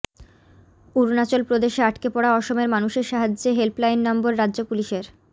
অরুণাচল প্ৰদেশে আটকে পড়া অসমের মানুষের সাহায্যে হেল্পলাইন নম্বর রাজ্য পুলিশের